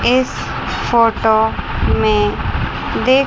इस फोटो में देख--